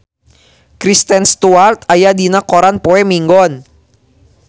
Kristen Stewart aya dina koran poe Minggon